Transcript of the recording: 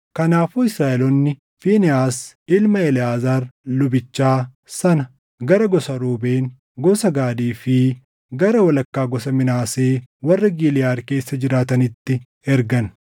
Kanaafuu Israaʼeloonni Fiinehaas ilma Eleʼaazaar lubichaa sana gara gosa Ruubeen, gosa Gaadii fi gara walakkaa gosa Minaasee warra Giliʼaad keessa jiraatanitti ergan.